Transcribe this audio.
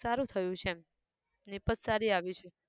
સારું થયું છે એમ નીપજ સારી આવી છે